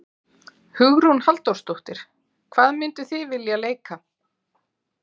Hugrún Halldórsdóttir: Hvað mynduð þið vilja leika?